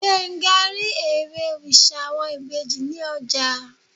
Gbenga ri èré oriṣa awọn ibeji ni ọja.